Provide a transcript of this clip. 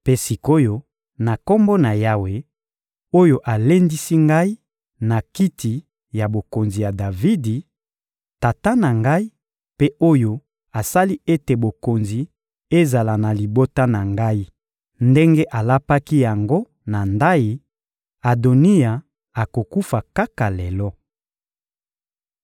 Mpe sik’oyo, na Kombo na Yawe oyo alendisi ngai na kiti ya bokonzi ya Davidi, tata na ngai, mpe oyo asali ete bokonzi ezala na libota na ngai ndenge alapaki yango na ndayi, Adoniya akokufa kaka lelo.